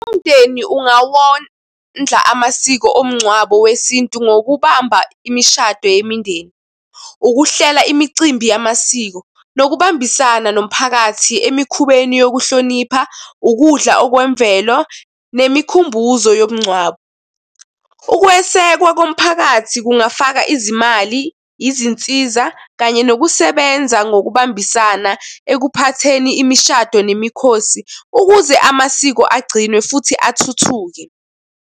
Umndeni ungawondla amasiko omncwabo wesintu ngokubamba imishado yemindeni, ukuhlela imicimbi yamasiko, nokubambisana nomphakathi emikhubeni yokuhlonipha ukudla okwemvelo nemikhumbuzo yomngcwabo. Ukwesekwa komphakathi kungafaka izimali, izinsiza kanye nokusebenza ngokubambisana ekuphatheni imishado nemikhosi ukuze amasiko agcinwe futhi athuthuke.